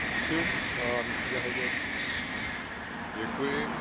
Pane předsedající, já jsem nedávno v Moldavsku byl.